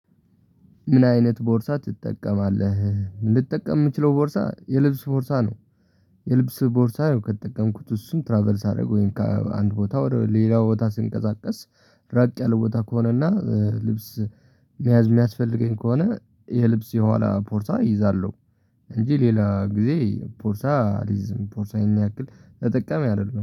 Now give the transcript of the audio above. ምን? አይነት ቦርሳ ትጠቀማለህ ልጠቀም የምችለው ቦርሳ የልብስ ቦርሳ ነው። የልብስ ቦርሳ ከተጠቀምኩት እሱን ትራቭል ሳደርገው ከአንድ ቦታ ሌላ ቦታ ስንቀሳቀስ። ራቅ ያለ ቦታ ከሆነና ልብስ መያዝ የሚያስፈልገኝ ከሆነ የልብስ የኋላ ቦርሳ እይዛለሁ። እንጂ ሌላ ጊዜ ቦርሳ አሊዝም ቦርሳ ያንያክል ተጠቃሚ አይደለሁም